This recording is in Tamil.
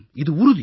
இது உறுதி